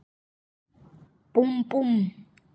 Búmm, búmm.